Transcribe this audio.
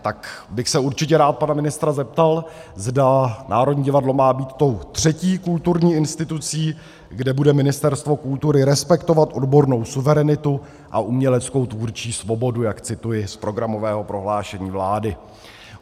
Tak bych se určitě rád pana ministra zeptal, zda Národní divadlo má být tou třetí kulturní institucí, kde bude Ministerstvo kultury respektovat odbornou suverenitu a uměleckou tvůrčí svobodu, jak cituji z programového prohlášení vlády.